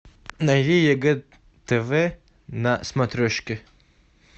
найди егэ тв на смотрешке